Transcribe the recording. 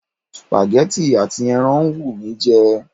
Supagẹ́tì àti ẹran ń wù mí jẹ.